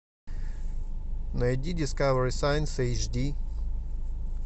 найди дискавери сайнс эйчди